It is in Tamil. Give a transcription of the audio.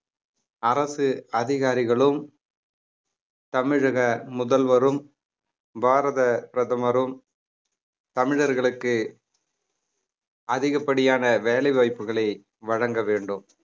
அரசு அதிகாரிகளும் தமிழக முதல்வரும் பாரத பிரதமரும் தமிழர்களுக்கு அதிகப்படியான வேலை வாய்ப்புகளை வழங்க வேண்டும்